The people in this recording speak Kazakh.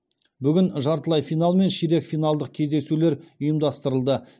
бүгін жартылай финал мен ширек финалдық кездесулер ұйымдастырылды